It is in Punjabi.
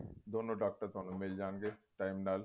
ਦੋਨੋਂ ਡਾਕਟਰ ਤੁਹਾਨੂੰ ਮਿੱਲ ਜਾਣਗੇ time ਨਾਲ